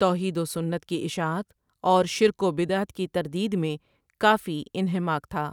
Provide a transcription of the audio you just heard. توحیدوسنت کی اشاعت اور شرک وبدعت کی تردیدمیں کافی انہماک تھا ۔